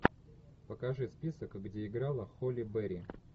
покажи список где играла холли берри